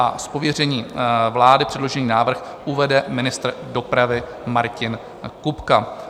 Z pověření vlády předložený návrh uvede ministr dopravy Martin Kupka.